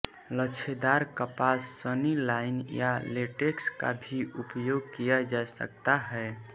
लच्छेदार कपास सनी लाइन या लेटेक्स का भी उपयोग किया जा सकता है